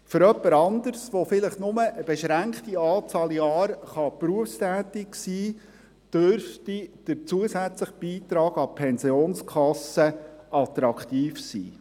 Für jemand anderen, der vielleicht bloss eine beschränkte Anzahl Jahre berufstätig sein kann, dürfte der zusätzliche Beitrag an die Pensionskasse attraktiv sein.